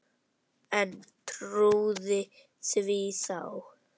En trúði því þá.